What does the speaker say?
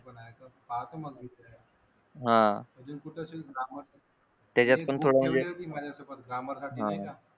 पाहतो मग अजून कुठे माझ्यासोबत ग्रामर साठी नाही का